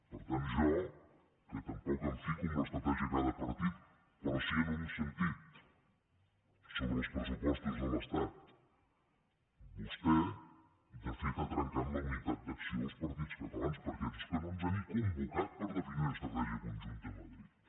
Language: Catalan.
per tant jo que tampoc em fico en l’estratègia de cada partit però sí que en un sentit sobre els pressupostos de l’estat vostè de fet ha trencat la unitat d’acció dels partits catalans perquè és que no ens ha ni convocat per definir una estratègia conjunta a madrid